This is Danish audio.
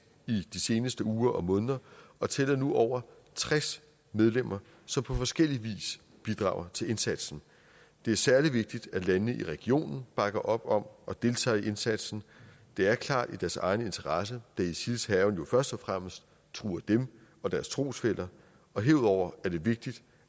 i de seneste uger og måneder og tæller nu over tres medlemmer som på forskellig vis bidrager til indsatsen det er særlig vigtigt at landene i regionen bakker op om og deltager i indsatsen det er klart i deres egen interesse da isils hærgen jo først og fremmest truer dem og deres trosfæller herudover er det vigtigt